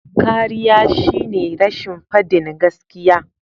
Kariya shine rashin fadin gaskiya.